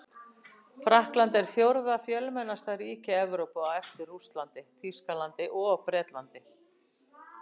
Frakkland er fjórða fjölmennasta ríki Evrópu á eftir Rússlandi, Þýskalandi og Bretlandi.